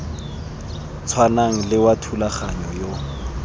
tshwanang le wa thulaganyo ya